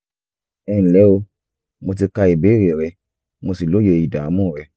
ẹnlẹ́ o mo ti ka ìbéèrè rẹ mo sì lóye ìdààmú rẹ